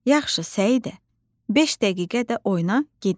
“Yaxşı, Səidə, beş dəqiqə də oyna, gedək.”